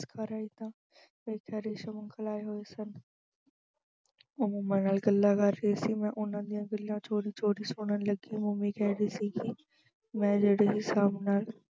ਘਰ ਆਈ ਤਾਂ ਇੱਥੇ ਰੇਸ਼ਮ uncle ਆਏ ਹੋਏ ਸਨ ਉਹ mummy ਨਾਲ ਗੱਲਾਂ ਕਰ ਰਹੇ ਸੀ। ਮੈਂ ਉਹਨਾਂ ਦੀਆਂ ਗੱਲਾਂ ਚੋਰੀ-ਚੋਰੀ ਸੁਣਨ ਲੱਗੀ mummy ਕਹਿ ਰਹੀ ਸੀ ਕਿ ਮੈਂ ਜਿਹੜੇ ਹਿਸਾਬ ਨਾਲ